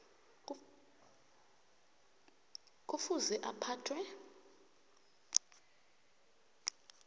kufuze bona aphathwe